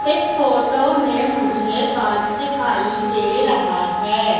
इस फोटो में मुझे पार्क दिखाई दे रहा है।